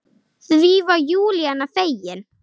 Því var Júlía fegin.